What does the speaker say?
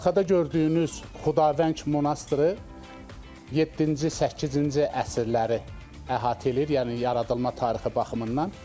Arxada gördüyünüz Xudavəng monastırı yeddinci, səkkizinci əsrləri əhatə eləyir, yəni yaradılma tarixi baxımından.